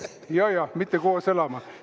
Jajah, mitte koos elama.